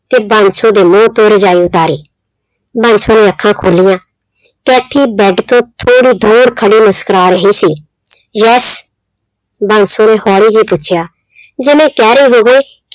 ਤੇ ਬਾਂਸੋ ਦੇ ਮੂੰਹ ਤੋਂ ਰਜਾਈ ਉਤਾਰੀ, ਬਾਂਸੋ ਨੇ ਅੱਖਾਂ ਖੋਲੀਆਂ ਕੈਥੀ ਬੈਡ ਤੋਂ ਥੋੜ੍ਹੀ ਦੂਰ ਖੜੀ ਮੁਸਕਰਾ ਰਹੀ ਸੀ yes ਬਾਂਸੋ ਨੇ ਹੌਲੀ ਜਿਹੇ ਪੁੱਛਿਆ ਜਿਵੇਂ ਕਹਿ ਰਹੀ ਹੋਵੇ